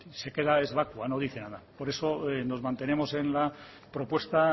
es vacua no dice nada por eso nos mantenemos en la propuesta